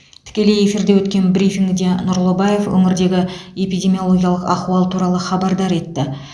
тікелей эфирде өткен брифингіде нұрлыбаев өңірдегі эпидемиологиялық ахуал туралы хабардар етті